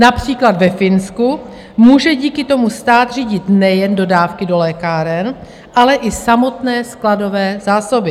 Například ve Finsku může díky tomu stát řídit nejen dodávky do lékáren, ale i samotné skladové zásoby.